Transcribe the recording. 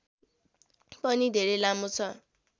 पनि धेरै लामो छ